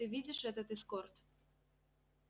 ты видишь этот эскорт